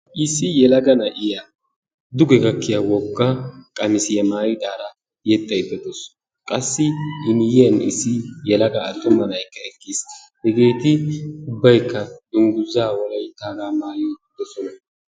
Issi yelaga na'iya duge gakkiya wogga qamisiya maayidaara yexxayda dawusu. Qassi I miyiyan issi yelaga attuma na'aykka eqqiis. Hegee ubbaykka dungguzza wolayttagaa maayi uttiddossona.